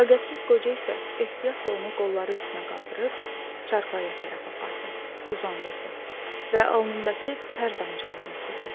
Fəqət qoca isə ehtiyatla onu qolları üstünə qaldırıb çarpayıya tərəf apardı, uzandırdı və alnındakı tər damcılarını sildi.